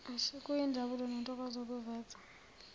kuyinjabulo nentokozo ukuveza